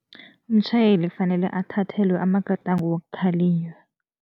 Umtjhayeli kufanele athathelwe amagadango wokukhalinywa.